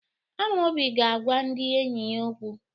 Amaobi ga-agwa ndị enyi ya okwu.